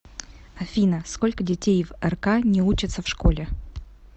афина сколько детей в рк не учатся в школе